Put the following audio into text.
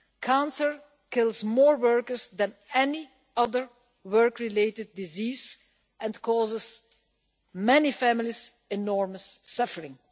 Cancer kills more workers than any other work related disease and causes many families enormous suffering.